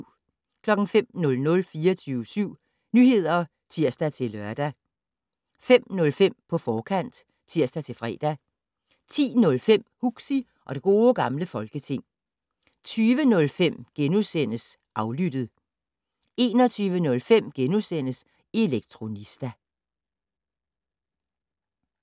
05:00: 24syv Nyheder (tir-lør) 05:05: På forkant (tir-fre) 10:05: Huxi og det Gode Gamle Folketing 20:05: Aflyttet * 21:05: Elektronista *